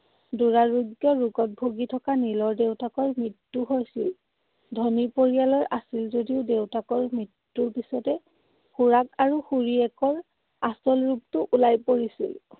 দুৰাৰোগ্য ৰোগত ভুগি থকা নীলৰ দেউতাকৰ মৃত্যু হৈছিল। ধনী পৰিয়ালৰ আছিল যদিও দেউতাকৰ মৃত্যুৰ পিছতে খুৰাক আৰু খুৰীয়েকৰ আচল ৰূপটো ওলাই পৰিছিল।